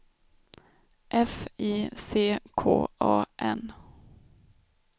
F I C K A N